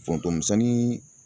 Foroton misɛnnin